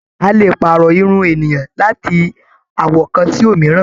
A lè pààrọ̀ irun ènìyàn láti àwọ̀ kan sí òmíràn.